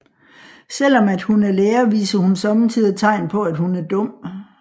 Selvom at hun er lærer viser hun sommetider tegn på at hun er dum